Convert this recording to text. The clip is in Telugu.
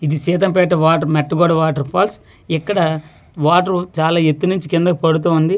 ఇది Seethampeta water Mettaguda water falls ఇక్కడ వాటరు చాలా ఎత్తు నుంచి కిందకు పడుతూ ఉంది.